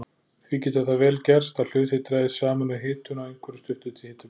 Því getur það vel gerst að hlutir dragist saman við hitun á einhverju stuttu hitabili.